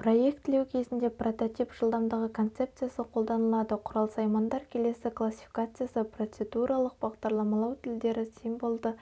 проектілеу кезінде прототип жылдамдығы концепциясы қолданылады құрал-саймандар келесі классификациясы процедуралық бағдарламалау тілдері символды